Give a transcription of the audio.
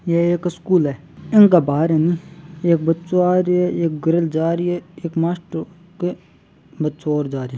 ये एक स्कूल है इनका बाहर ह ने एक बच्चो आरो है एक गर्ल जारी है एक मास्टर के बच्चो और जा रहा है।